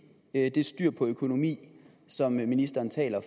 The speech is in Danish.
at styr på økonomien som ministeren taler